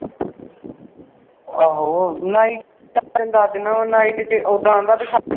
ਆਹੋ night ਦਁਸ ਦੇਨਾ ਵਾ night ਤੇ ਉੱਦਾਂ ਆਂਦਾ ਬਈ